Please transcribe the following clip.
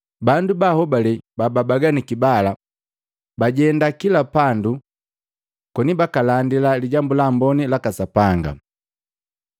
Bandu ba ahobale babaganiki bala, bajenda kila pandu koni baka landila Lijambu la Amboni laka Sapanga.